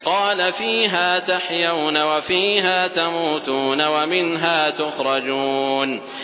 قَالَ فِيهَا تَحْيَوْنَ وَفِيهَا تَمُوتُونَ وَمِنْهَا تُخْرَجُونَ